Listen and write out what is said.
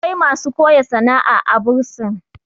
akwai masu koya sana'a a a bursin